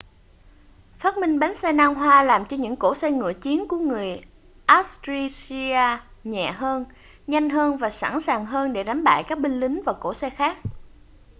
phát minh bánh xe nan hoa làm cho những cỗ xe ngựa chiến của người assyria nhẹ hơn nhanh hơn và sẵn sàng hơn để đánh bại các binh lính và cỗ xe khác